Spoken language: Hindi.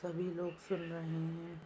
सभी लोग सुन रहे हैं।